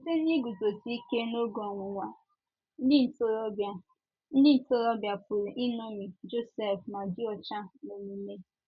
Site n’iguzosike n'oge ọnwụnwa, ndị ntorobịa, ndị ntorobịa pụrụ iṅomi Josef ma dị ọcha n’omume